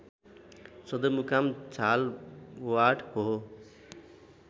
सदरमुकाम झालवाड हो